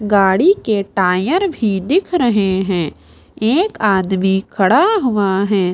गाड़ी के टायर भी दिख रहे हैं एक आदमी खड़ा हुआ है।